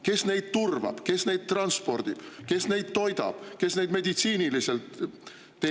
Kes neid turvab, kes neid transpordib, kes neid toidab, kes neid meditsiiniliselt teenindab?